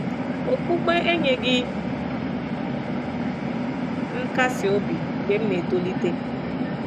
Okpukpe enyeghị m nkasi obi mgbe m na- etolite.